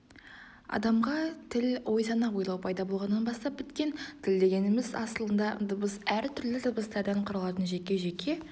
адамға тіл ой-сана ойлау пайда болғаннан бастап біткен тіл дегеніміз асылында дыбыс әртүрлі дыбыстардан құралатын жекежеке